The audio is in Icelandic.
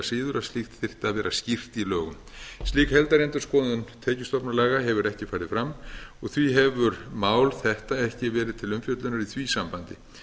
síður að slíkt þyrfti að vera skýrt í lögum slík heildarendurskoðun tekjustofnalaga hefur ekki farið fram og því hefur mál þetta ekki verið til umfjöllunar í því sambandi